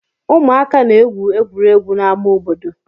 Ụmụaka na-egwu egwuregwu n'amá obodo.